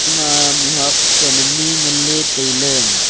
ema mih huak san ani ngan ley tailey.